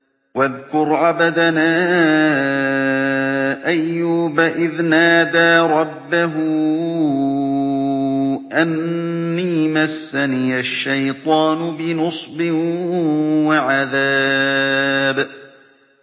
وَاذْكُرْ عَبْدَنَا أَيُّوبَ إِذْ نَادَىٰ رَبَّهُ أَنِّي مَسَّنِيَ الشَّيْطَانُ بِنُصْبٍ وَعَذَابٍ